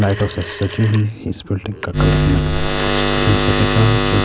لائٹوں سے سجی ہوئی اس بلڈنگ کا کلر ہمیں کچھ کریم سا دکھائی دے رہا ہے -جو--